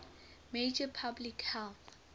major public health